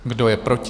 Kdo je proti?